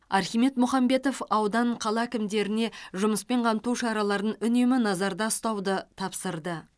архимед мұхамбетов аудан қала әкімдеріне жұмыспен қамту шараларын үнемі назарда ұстауды тапсырды